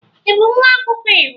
Ị bụ nwa akwụkwọ iwu